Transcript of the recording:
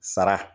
Sara